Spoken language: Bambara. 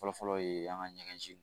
Fɔlɔfɔlɔ ye an ka ɲɛgɛn